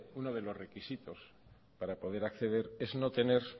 uno de los requisitos para poder acceder es no tener